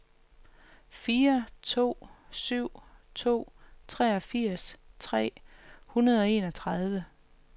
fire to syv to treogfirs tre hundrede og enogtredive